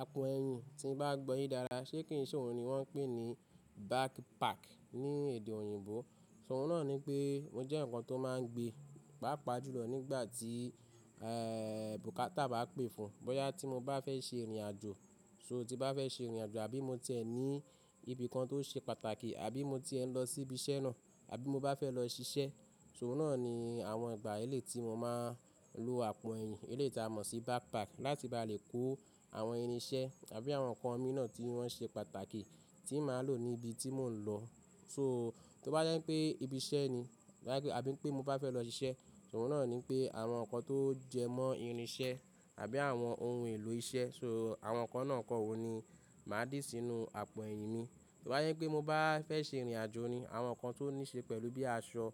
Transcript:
Àpò eyín tín bá gbo yin dáda ṣé kí n so òun ni wọ́n ń pè ní backpack ní èdè òyìnbó. Òun náà ní pé mó jẹ́ eǹikan tó máa ń gbé, pàápàá jùlọ nígbà tí, e, bùkátà bá pè fún. Bóyá tí mo bá fẹ́ ṣe ìrìnàjò, so tí bá fẹ́ ṣe ìrìnàjò àbí mo tiẹ ní ibi kan tó ṣe pàtàkì àbí mo tie ń lọ sí ibi iṣẹ́ náà, àbí mo bá fẹ́ lọ ṣiṣẹ́, ṣo oun náà ni àwọn ìgbà eléyi mo máa lò àpò ẹyìn. Eléyi ti a mọ̀ sí backpack láti bá lè kó àwọn irin iṣẹ́ àbí àwọn ǹkan mii náà tí wọ́n ṣe pàtàkì tí màá lò ní ibi tí mò ń lọ. So to bá jẹ́ pé ibi iṣẹ́ ni, àbí pé mo bá fẹ́ lọ ṣiṣẹ́, ṣo oun na ni pé àwọn ǹkan tó jẹmọ́ irin iṣẹ́ àbí àwọn ohun èlò iṣẹ́, so àwọn ǹkan náà kọ́ wo ni màá dì sínú àpò ẹyìn mi. Tí ó bá jẹ́ pé mo bá fẹ́ ṣe ìrìnàjò ni àwọn ǹkan tó ní ṣe pẹ̀lú bíi aṣọ